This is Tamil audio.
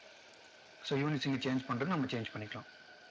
so events இங்க change பண்றது நம்ம change பண்ணிக்கலாம்